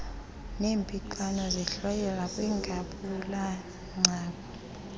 zernpixano zihlwayelwa kwingabulagcawu